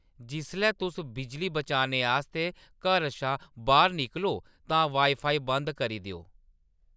जिसलै तुस बिजली बचाने आस्तै घर शा बाह्‌‌र निकलो तां वाईफाई बंद करी देओ